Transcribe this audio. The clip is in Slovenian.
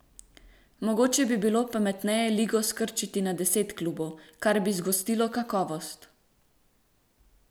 Mogoče bi bilo pametneje ligo skrčiti na deset klubov, kar bi zgostilo kakovost.